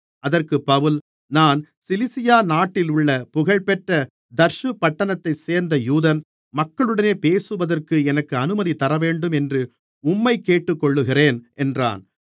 அதற்குப் பவுல் நான் சிலிசியா நாட்டிலுள்ள புகழ்பெற்ற தர்சு பட்டணத்தைச் சேர்ந்த யூதன் மக்களுடனே பேசுவதற்கு எனக்கு அனுமதி தரவேண்டும் என்று உம்மை கேட்டுக்கொள்ளுகிறேன் என்றான்